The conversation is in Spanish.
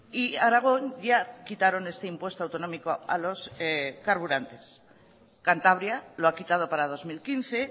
y aragón ya quitaron este impuesto autonómico a los carburantes cantabria lo ha quitado para dos mil quince